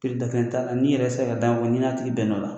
da kelen t'a n'i yɛrɛ se la ka da min fɔ n'i n'a tigi bɛn n'o la.